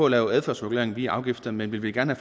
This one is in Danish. at lave adfærdsregulering via afgifter men vil vi gerne